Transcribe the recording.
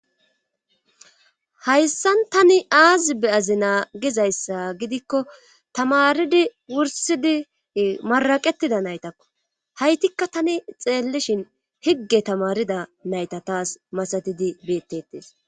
Hayssan tani aazi beyazi naagizayssa gidikko tamaridi wursidi maraqettida naytakko haytikka tani xeellishin higge tamarida nayta taas masatidi beetteties.